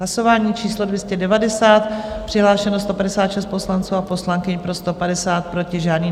Hlasování číslo 290, přihlášeno 156 poslanců a poslankyň, pro 150, proti žádný.